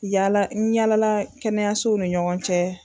Yala n yala la kɛnɛyasow ni ɲɔgɔn cɛ